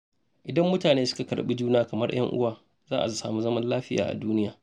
Idan mutane suka karɓi juna kamar 'yan uwa, za a samu zaman lafiya a duniya.